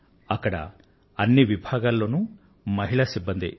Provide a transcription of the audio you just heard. అక్కడ అన్ని విభాగాలలోనూ పనిచేస్తోంది మహిళా సిబ్బందే